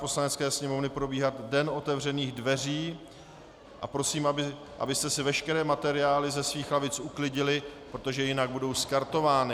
Poslanecké sněmovny probíhat den otevřených dveří, a prosím, abyste si veškeré materiály ze svých lavic uklidili, protože jinak budou skartovány.